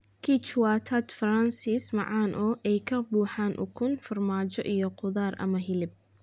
Quiche waa tart Faransiis macaan oo ay ka buuxaan ukun, farmaajo, iyo khudaar ama hilib.